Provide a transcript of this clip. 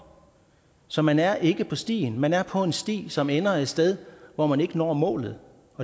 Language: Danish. så man er ikke på stien man er på en sti som ender et sted hvor man ikke når målet